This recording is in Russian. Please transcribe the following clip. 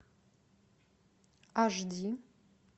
аш ди